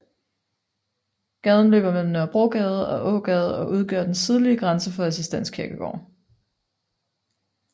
Gaden løber mellem Nørrebrogade og Ågade og udgør den sydlige grænse for Assistens Kirkegård